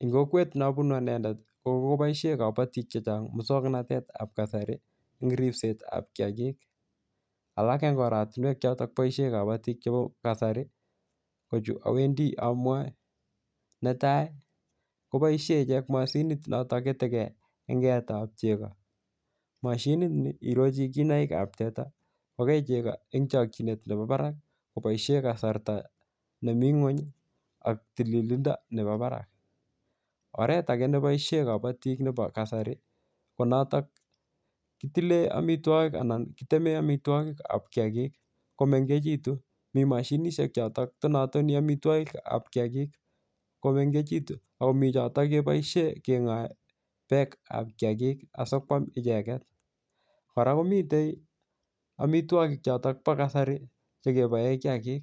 en kokwet neobunu anendet kokokoboishen kabotik chechang muswoknotetab kasari eng ripsetab kiagik alak en oratinwek choton boishen kabotik chebo kasari kochu owendi amwae netai koboishen ichek moshinit notok ketekee en keetab chego moshinini irochi kiinaikab teta kokei chego en chokyinet nepo barak koboishen kasarta nemi ngwenyi ak tililindo nebo barak oret ake neboishen kabotik nepo kasari konotok kitilen amitwogik anan kitemen amitwogikab kiagik komengekitun mi moshinishek chotok tonotoni amitwogikab kiagik komengekitun akomi chotok keboishen kengoe beekab kiagik asikwam icheket kora komiten amitwogik choton bo kasari chekeboen kiagik